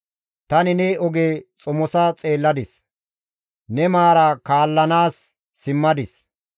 Tani ta oge xomosa xeelladis; ne maara kaallanaas simmadis.